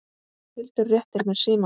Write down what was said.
Hildur réttir mér símann.